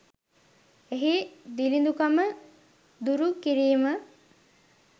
එහි දිළිඳුකම දුරු කිරීම